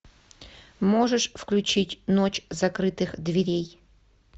можешь включить ночь закрытых дверей